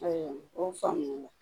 Ayiwa o faamuyali la